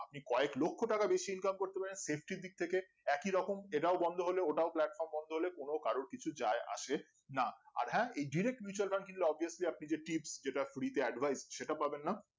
আপনি কয়েক লক্ষ টাকা বেশি ইনকাম করতে পারেন safety দিক থেকে একই রকম সেটাও বন্ধ হলে ওটাও platform বন্ধ হলে কোন কারো কিছু যায় আসে না আর হ্যাঁ এই directly mutual Fund এলে অবশ্যই আপনি যে tips যেটা free তে advise সেটা পাবেন না